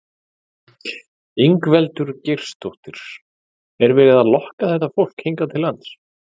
Ingveldur Geirsdóttir: Er verið að lokka þetta fólk hingað til lands?